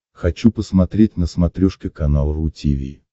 хочу посмотреть на смотрешке канал ру ти ви